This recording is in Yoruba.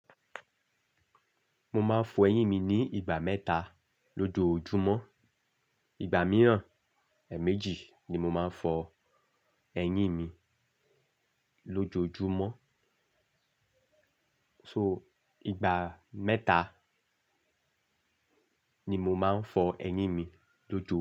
Mo máa ń fọ ẹyín mi ní ìgbà mẹ́ta lójoojúmọ́. Ìgbà mìíràn, èèmejì ní mó máa ń fọ ẹyín mí lójoojúmọ́. So, ìgbà mẹ́ta ni mo máa ń fọ ẹyín mi lójoojúmọ́